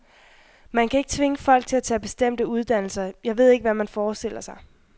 Man kan ikke tvinge folk til at tage bestemte uddannelser, jeg ved ikke, hvad man forestiller sig.